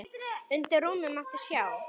Undir rúmi mátti sjá.